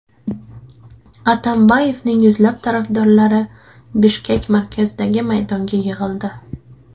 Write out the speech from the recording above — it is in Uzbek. Atambayevning yuzlab tarafdorlari Bishkek markazidagi maydonga yig‘ildi .